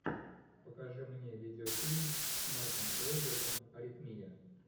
покажи мне видеофильм с марком уолбергом аритмия